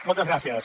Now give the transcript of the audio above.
moltes gràcies